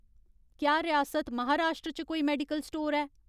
क्या रियासत महाराश्ट्र च कोई मेडिकल स्टोर ऐ ?